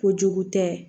Kojugu tɛ